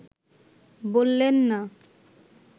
বললেন না